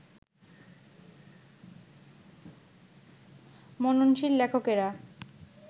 মননশীল লেখকেরা